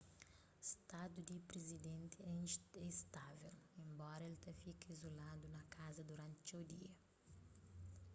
stadu di prizidenti é istável enbora el ta fika izuladu na kaza duranti txeu dia